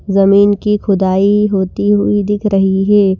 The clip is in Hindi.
जमीन की खुदाई होती हुई दिख रही है।